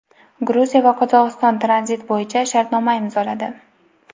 Gruziya va Qozog‘iston tranzit bo‘yicha shartnoma imzoladi.